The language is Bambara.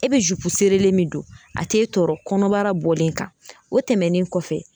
E be zupu serelen min don a t'e tɔɔrɔ kɔnɔbara bɔlen kan o tɛmɛnen kɔfɛ